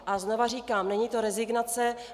A znova říkám: Není to rezignace.